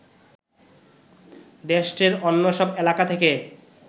দেশটির অন্য সব এলাকা থেকে